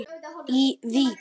í Vík.